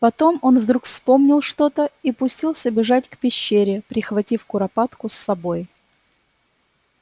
потом он вдруг вспомнил что-то и пустился бежать к пещере прихватив куропатку с собой